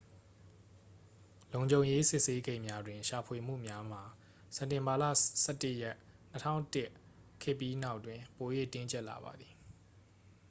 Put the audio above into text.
လုံခြုံရေး စစ်ဆေးဂိတ်များတွင် ရှာဖွေမှုများမှာ စက်တင်ဘာလ 11 ရက် 2001 ခေတ်ပြီးနောက်တွင် ပို၍ တင်းကျပ်လာပါသည်